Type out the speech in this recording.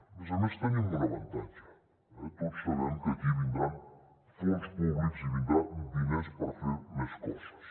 a més a més tenim un avantatge tots sabem que aquí vindran fons públics i vindran diners per fer més coses